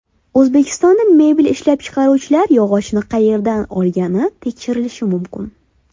O‘zbekistonda mebel ishlab chiqaruvchilar yog‘ochni qayerdan olgani tekshirilishi mumkin.